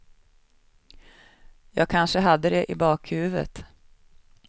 Jag kanske hade det i bakhuvudet.